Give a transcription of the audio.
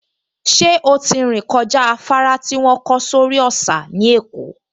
Ṣé ó ti rìn kọjá afárá tí wọ́n kọ́ sórí òsà ní Èkó?